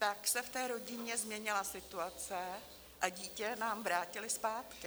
Pak se v té rodině změnila situace a dítě nám vrátili zpátky.